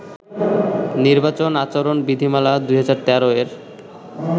নির্বাচন আচরণ বিধিমালা-২০১৩ এর